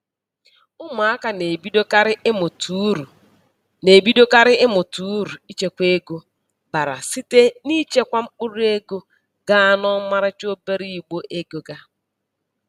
Ụmụaka na-ebidokarị ịmụta uru na-ebidokarị ịmụta uru ichekwa ego bara site n'ichekwa mkpụrụego ga n'ọmarịcha obere igbe ego ga.